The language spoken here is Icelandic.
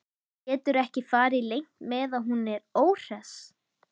Getur ekki farið leynt með að hún er óhress.